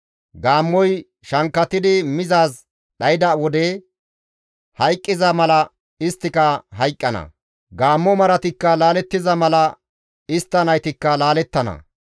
Gaammoy shankkatidi mizaaz dhayda wode hayqqiza mala isttika hayqqana; gaammo maratikka laalettiza mala istta naytikka laalettana;